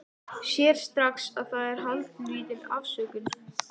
Sér strax að það er haldlítil afsökun.